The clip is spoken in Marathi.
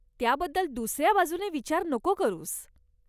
त्याबद्दल दुसऱ्या बाजूनं विचार नको करूस.